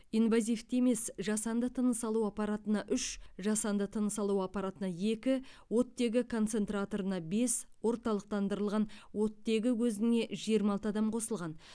инвазивті емес жасанды тыныс алу аппаратына үш жасанды тыныс алу аппаратына екі оттегі концентраторына бес орталықтандырылған оттегі көзіне жиырма алты адам қосылған